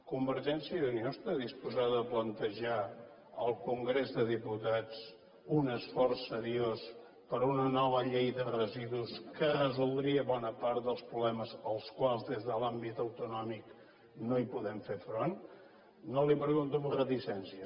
convergència i unió està disposada a plantejar al congrés dels diputats un esforç seriós per una nova llei de residus que resoldria bona part dels problemes als quals des de l’àmbit autonòmic no podem fer front no li ho pregunto amb reticència